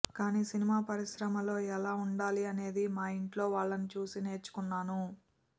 కానీ సినిమా పరిశ్రమలో ఎలా ఉండాలి అనేది మా ఇంట్లో వాళ్లని చూసి నేర్చుకున్నాను